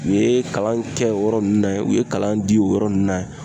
U ye kalan kɛ o yɔrɔ nunnu na yen, u ye kalan di o yɔrɔ nunnu na